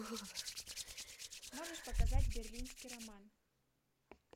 можешь показать берлинский роман